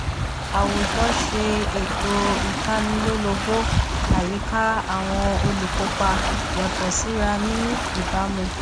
àwùjọ ṣe ètò ìtanilólobó àyíká àwọn olùkópa yàtọ síra ní ìbámu